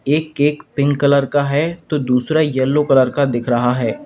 एक cake pink colour का है तो दूसरा यलो कलर का दिख रहा है।